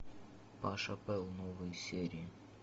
паша пэл новые серии